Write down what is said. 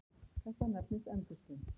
Þetta nefnist endurskin.